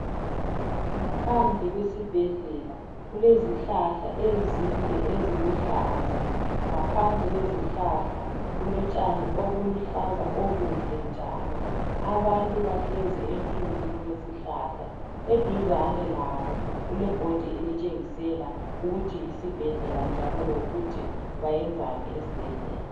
Ngaphandle kwesibhedlela kulezihlahla ezinde eziluhlaza. Ngaphansi kwezihlahla kulotshani obuluhlaza obuhle njalo. Abantu bahlezi emthunzini wesihlahla. Eduzane labo kule bhodi itshengisela ukuthi yisibhedlela njalo lokuthi bayenzani esibhedlela